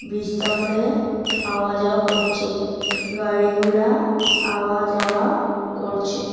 বিজটার মডে আওয়া যাওয়া করছে গাড়িগুলা আওয়া যাওয়া করছে ।